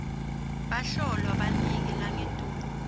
bahlolwa banike langetulu